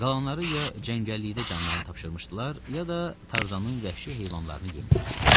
Qalanları ya cəngəllikdə canlarını tapşırmışdılar, ya da Tarzanın vəhşi heyvanlarını yem olmuşdular.